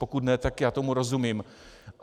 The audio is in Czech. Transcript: Pokud ne, tak já tomu rozumím.